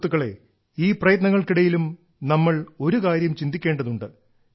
സുഹൃത്തുക്കളേ ഈ പ്രയത്നങ്ങൾക്കിടയിലും നമ്മൾ ഒരു കാര്യം ചിന്തിക്കേണ്ടതുണ്ട്